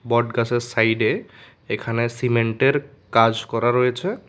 বট গাছের সাইডে এখানে সিমেন্টের কাজ করা রয়েছে।